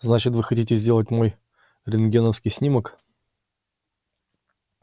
значит вы хотите сделать мой рентгеновский снимок